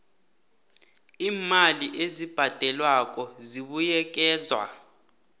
iimali ezibhadelwako zibuyekezwa